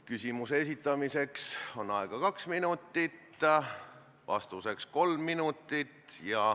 Küsimuse esitamiseks on aega kaks minutit ja vastamiseks kolm minutit.